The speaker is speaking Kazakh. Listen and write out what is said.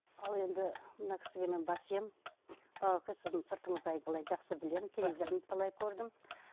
ал енді мына кісіге мен бас иемін бауеке сіздің сыртыңыздай былай жақсы білемін телевизордан талай көрдім